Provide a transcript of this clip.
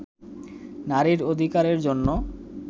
নারীর অধিকারের জন্য